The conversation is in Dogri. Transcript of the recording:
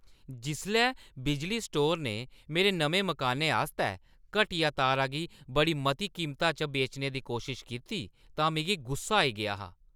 जिसलै बिजली स्टोर ने मेरे नमें मकानै आस्तै घटिया तारा गी बड़ी मती कीमता च बेचने दी कोशश कीती तां मिगी गुस्सा आई गेआ हा।